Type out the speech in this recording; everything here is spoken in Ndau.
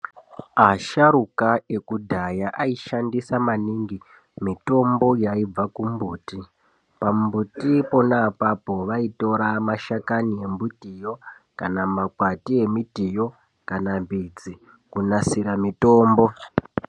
Asharuka ekudhaya aishandisa maningi mitombo yaibva kumbuti ,pambuti pona apapo vaitora mashakani emiti yo ,kana makwati emitiyo kana midzi kunasira mitombo.